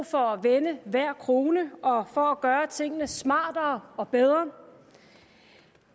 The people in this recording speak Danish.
for at vende hver krone og for at gøre tingene smartere og bedre